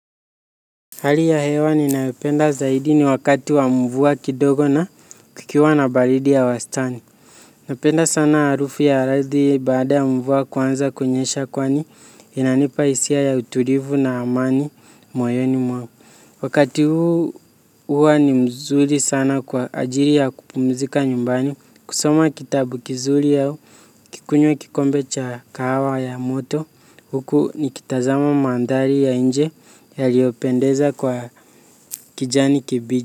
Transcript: Hali ya hewa ninayopenda zaidi ni wakati wa mvua kidogo na kukiwa na baridi ya wastani. Napenda sana harufu ya ardhi baada ya mvua kuanza kunyesha kwani inanipa hisia ya utulivu na amani moyoni mwangu. Wakati huu huwa ni mzuri sana kwa ajili ya kupumzika nyumbani. Kusoma kitabu kizuri au kikunywe kikombe cha kahawa ya moto huku nikitazama mandari ya nje yaliopendeza kwa kijani kibichi.